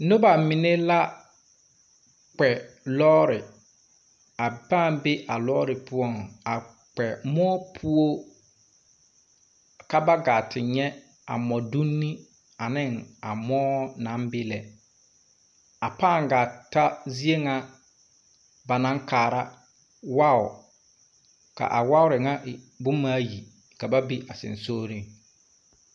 Nuba mene la kpɛ loore a pãã bɛ a loore puo a kpɛ mou puo ka ba gaa te nye a modunni ani a mou nang bɛ lɛ a pãã gaa ta zie nga ba nang kaara wuɔ ka a wuɔri nga e buma ayi ka ba be a sungsɔgring.